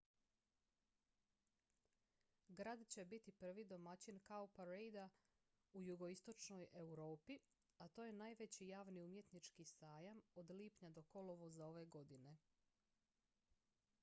grad će biti prvi domaćin cowparadea u jugoistočnoj europi a to je najveći javni umjetnički sajam od lipnja do kolovoza ove godine